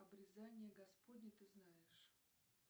обрезание господне ты знаешь